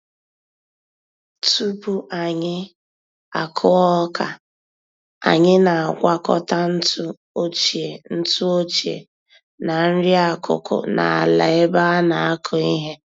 Tupu anyị akụ ọka, anyị na-agwakọta ntụ ochie ntụ ochie na nri-akụkụ n'ala ebe anakụ ihe.